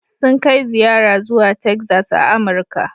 Sun kai ziyara zuwa Texas a Amurka.